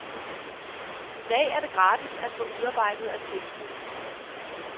I dag er det gratis at få udarbejdet attesten.